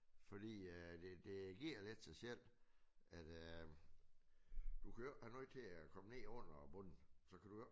Fordi øh det det giver lidt sig selv at øh du har noget til at komme ned under bunden. Så kan du jo ikke